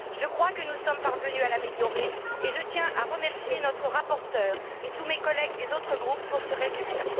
Je crois que nous sommes parvenus à l'améliorer, et je tiens à remercier notre rapporteur et tous mes collègues des autres groupes pour ce résultat.